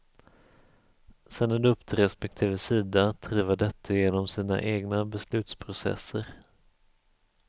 Sedan är det upp till respektive sida att driva detta genom sina egna beslutsprocesser.